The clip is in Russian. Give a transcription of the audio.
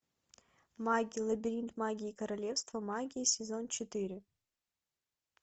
магия лабиринт магии королевство магии сезон четыре